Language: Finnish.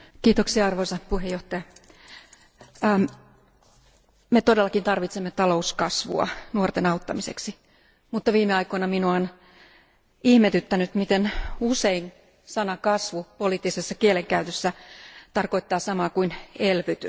Arvoisa puhemies, me todellakin tarvitsemme talouskasvua nuorten auttamiseksi, mutta viime aikoina minua on ihmetyttänyt, miten usein sana kasvu poliittisessa kielenkäytössä tarkoittaa samaa kuin elvytys.